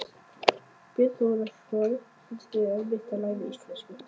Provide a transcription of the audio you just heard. Björn Þorláksson: Finnst þér erfitt að læra íslensku?